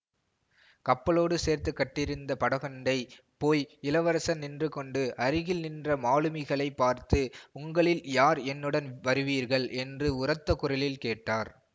கப்பலோடு சேர்த்து கட்டியிருந்த படகண்டை போய் இளவரசர் நின்று கொண்டு அருகில் நின்ற மாலுமிகளைப் பார்த்து உங்களில் யார் என்னுடன் வருவீர்கள் என்று உரத்த குரலில் கேட்டார்